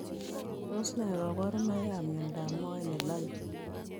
Tos nee kabarunoik ap miondoo moet nelale?